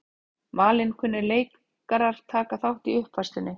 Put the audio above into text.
Valinkunnir leikarar taka þátt í uppfærslunni